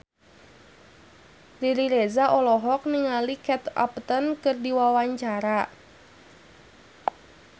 Riri Reza olohok ningali Kate Upton keur diwawancara